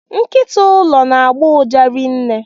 Nkịta ụlọ na agbọ uja rinne.